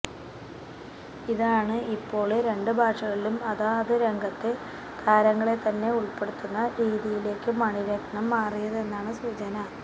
ഇതാണ് ഇപ്പോള് രണ്ട് ഭാഷകളിലും അതാത് രംഗത്തെ താരങ്ങളെത്തന്നെ ഉള്പ്പെടുത്തുന്ന രീതിയിലേയ്ക്ക് മണിരത്നം മാറിയതെന്നാണ് സൂചന